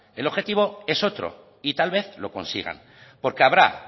el objetivo es otro y tal vez lo consigan porque habrá